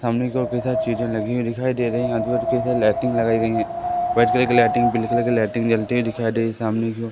सामने काफी सारी चिजे लगी हुई दिखाई दे रही आजू बाजू कई सारी लाइटिंग लगाई गई हैं व्हाइट कलर के लाइटिंग ब्लू कलर के लाइटिंग जलती हुई दिखाई दे रही हैं सामने कि ओ --